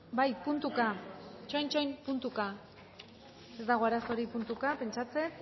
bai puntuka itxoin itxoin puntuka ez dago arazorik puntuka pentsatzen